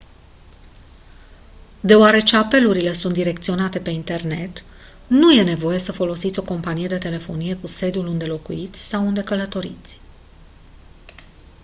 deoarece apelurile sunt direcționate pe internet nu e nevoie să folosiți o companie de telefonie cu sediul unde locuiți sau unde călătoriți